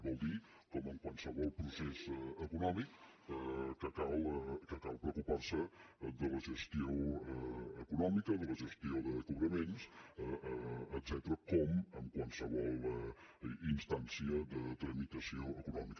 vol dir com en qualsevol procés econòmic que cal preocupar se de la gestió econòmica de la gestió de cobraments etcètera com en qualsevol instància de tramitació econòmica